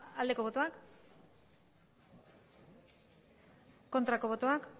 aldeko botoak aurkako botoak